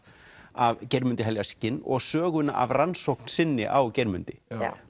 af Geirmundi heljarskinn og söguna af rannsókn sinni á Geirmundi